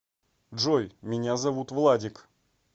джой меня зовут владик